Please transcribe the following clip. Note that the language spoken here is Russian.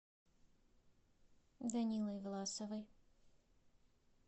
данилой власовой